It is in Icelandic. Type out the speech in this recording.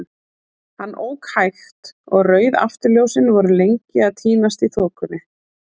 Hann ók hægt, og rauð afturljósin voru lengi að týnast í þokunni.